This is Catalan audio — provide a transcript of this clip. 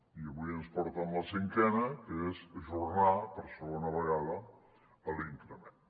i avui ens porten la cinquena que és ajornar per segona vegada l’increment